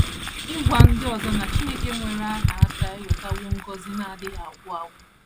Ịgwa ndị ọzọ na Chineke nwere aha aka ewetawo ngọzi aka ewetawo ngọzi na - adịghị agwụ agwụ.